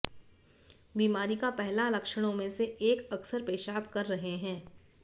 बीमारी का पहला लक्षणों में से एक अक्सर पेशाब कर रहे हैं